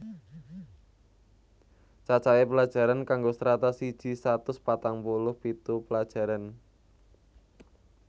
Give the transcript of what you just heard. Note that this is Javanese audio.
Cacahe pelajaran kanggo Strata siji satus patang puluh pitu pelajaran